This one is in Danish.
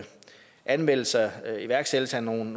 anmeldelse og iværksættelse af nogle